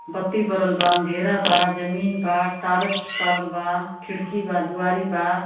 बत्ती बरल बा अँधेरा बा जमीन बा टारच बारल बा खिड़की बा द्वारी बा।